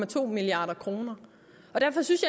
to milliard kroner derfor synes